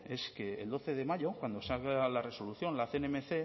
es que el doce de mayo cuando salga la resolución la cnmc